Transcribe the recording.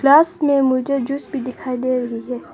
में मुझे जूस भी दिखाई दे रही है।